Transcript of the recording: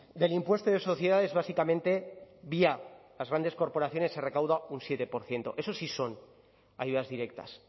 del impuesto de sociedades básicamente vía las grandes corporaciones se recauda un siete por ciento eso sí son ayudas directas